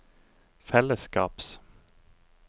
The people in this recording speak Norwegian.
fellesskaps